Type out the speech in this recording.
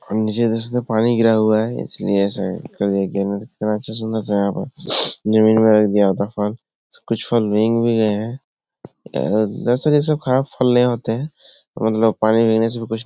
और नीचे देख सकते है पानी गिरा हुआ है इसलिए ऐसा कर दिया गया है अच्छा सुन्दर सा यहाँ पे जमीन में रख दिया होता फल कुछ फल भींग भी गए हैं अ जैसे जैसे खराब फल नहीं होते हैं। मतलब पानी देने से भी कुछ --